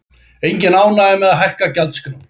Engin ánægja að hækka gjaldskrár